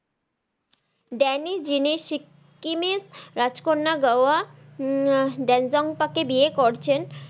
Danny যিনি সিকিমের রাজকন্যা গাওয়া উম ড্যাঞ্জম্পা কে বিয়ে করছেন।